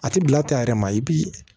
A ti bila tɛ a yɛrɛ ma i bi